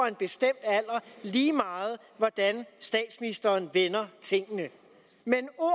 en bestemt alder lige meget hvordan statsministeren vender tingene men ord